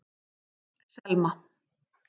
Selma